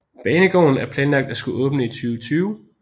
Banegården er planlagt at skulle åbne i 2020